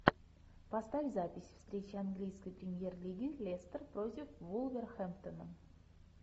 поставь запись встреча английской премьер лиги лестер против вулверхэмптона